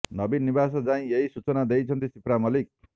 ନବୀନ ନିବାସ ଯାଇ ଏହି ସୂଚନା ଦେଇଛନ୍ତି ସିପ୍ରା ମଲ୍ଲିକ